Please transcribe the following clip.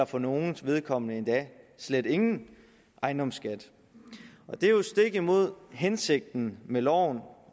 for nogles vedkommende endda slet ingen ejendomsskat og det er jo stik imod hensigten med loven